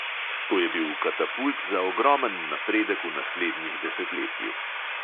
To je bil katapult za ogromen napredek v naslednjih desetletjih.